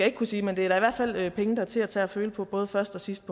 ikke kunne sige men det er i hvert fald penge der er til at tage at føle på både først og sidst